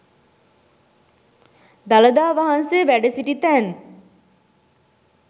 දළදා වහන්සේ වැඩ සිටි තැන්